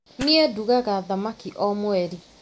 Niĩ ndugaga thamaki o mweri